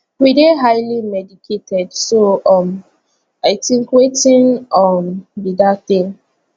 we dey highly medicated so um i tink wetin um be dat tin